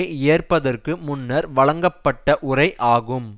ஏற்பதற்கு முன்னர் வழங்கப்பட்ட உரை ஆகும்